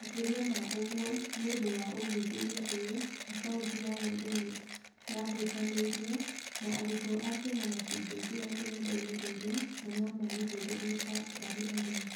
Makĩria ma ũguo, nĩ ũndũ wa ũthuthuria ũyũ, akaunti ya mũndũ nĩ yahutanĩirio, no arutwo a Kenya matingĩingĩra rũrenda-inĩ rũrũ na no mamĩhũthĩre tu marĩ ageni.